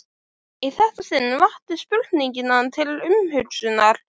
Í þetta sinn vakti spurningin hann til umhugsunar.